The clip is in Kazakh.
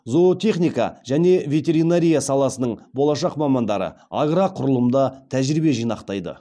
зоотехника және ветеринария саласының болашақ мамандары агроқұрылымда тәжірибе жинақтайды